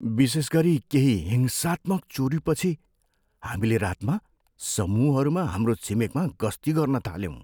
विशेष गरी केही हिंसात्मक चोरीपछि हामीले रातमा समूहहरूमा हाम्रो छिमेकमा गस्ती गर्न थाल्यौँ।